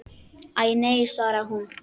Æ, nei svaraði hún.